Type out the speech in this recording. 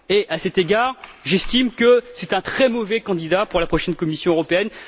À cet égard, j'estime que c'est un très mauvais candidat pour la prochaine Commission européenne.